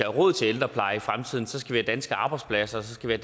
råd til ældrepleje i fremtiden skal vi have danske arbejdspladser og så skal vi